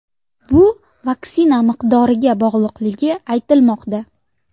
Bu vaksina miqdoriga bog‘liqligi aytilmoqda.